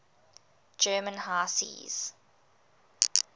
german high seas